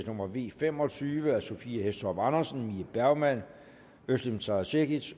nummer v fem og tyve af sophie hæstorp andersen mie bergmann özlem sara cekic